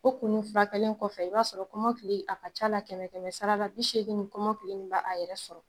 O kun furakɛlen kɔfɛ i b'a sɔrɔ kɔmɔkili a ka ca a la kɛmɛ kɛmɛ sara la bi seegin kɔmɔkili in b'a yɛrɛ sɔrɔ